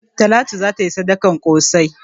Talatu za ta yi sadakan ƙosai.